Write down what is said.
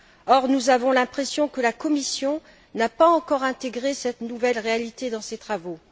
Or, nous avons l'impression que la Commission n'a pas encore intégré cette nouvelle réalité dans ses travaux.